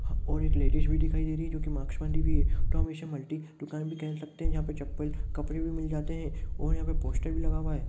और एक लेडिस भी दिखाई दे रही है जो मास्क बाँधी हुई है थे इसे हम मल्टी दुकान भी कह सकते हैं जहां पर चप्पल कपड़े भी मिल जाते हैं और यहां पर पोस्टर भी लगा हुआ है।